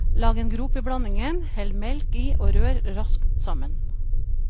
Lag en grop i blandingen, hell melk i og rør raskt sammen.